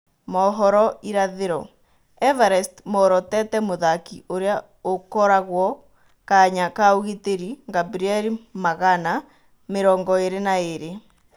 (Mohoro Irathĩro) Everest moorotete mũthaki ũrĩa ũkoragũo kanya kaũgitĩri Ngabrieli Magana, mĩrongoĩrĩ na ĩrĩ.